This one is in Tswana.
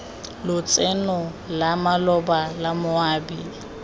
lotseno la maloba la moabi